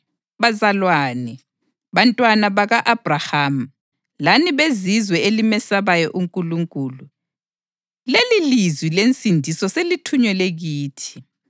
Bazalwane, bantwana baka-Abhrahama lani beZizwe elimesabayo uNkulunkulu, lelilizwi lensindiso selithunyelwe kithi.